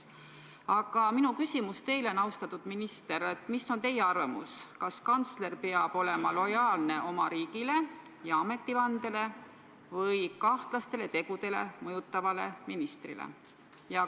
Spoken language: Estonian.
Aga minu küsimus teile, austatud minister, on järgmine: mis on teie arvamus, kas kantsler peab olema lojaalne oma riigile ja ametivandele või kahtlasi tegusid tegema mõjutavale ministrile?